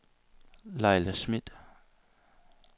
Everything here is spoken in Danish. Laila Smidt